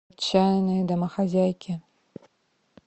отчаянные домохозяйки